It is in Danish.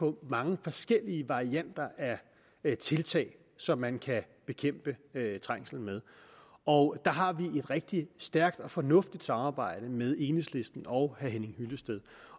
på mange forskellige varianter af tiltag som man kan bekæmpe trængsel med og der har vi et rigtig stærkt og fornuftigt samarbejde med enhedslisten og herre henning hyllested